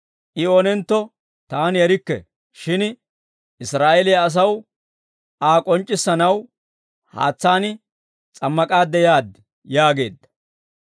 I oonentto taani erikke; shin Israa'eeliyaa asaw Aa k'onc'c'issanaw haatsaan s'ammak'aadde yaad» yaageedda.